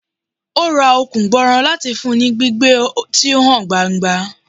O ra Okun gbooro lati fun u ni gbigbe ti o han gbangba